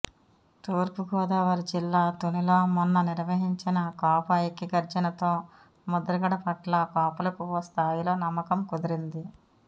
తూర్పుగోదావరి జిల్లా తునిలో మొన్న నిర్వహించిన కాపు ఐక్య గర్జనతో ముద్రగడ పట్ల కాపులకు ఓ స్థాయిలో నమ్మకం కుదిరింది